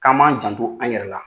K'an b'an janto an' yɛrɛ la.